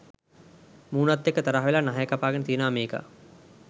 මූනත් එක්ක තරහ වෙලා නහය කපාගෙන තියෙනවා මේකා.